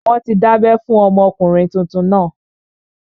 Wọ́n ti dábẹ́ fún ọmọkùnrin tuntun náà